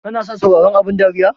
Kana son sauraron abun dariya?